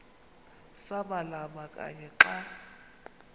samalama kanye xa